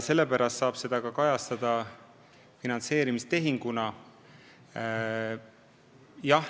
Sellepärast saab seda rahaeraldust võtta finantseerimistehinguna.